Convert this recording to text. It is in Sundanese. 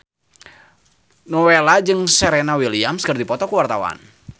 Nowela jeung Serena Williams keur dipoto ku wartawan